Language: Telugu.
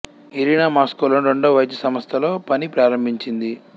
ఇరినా మాస్కో లోని రెండవ వైద్య సంస్థలో పని ప్రారంభించింది